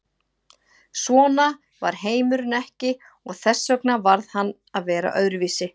Svona var heimurinn ekki og þess vegna varð hann að vera öðruvísi.